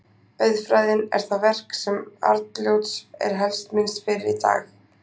Auðfræðin er það verk sem Arnljóts er helst minnst fyrir í dag.